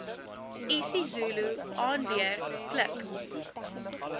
isizulu aanleer klik